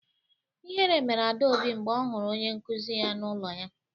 Ihere mere Adaobi mgbe ọ hụrụ onye nkuzi ya n’ụlọ ha.